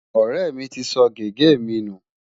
Ọ̀rẹ́ mi ti sọ gègé mi nù.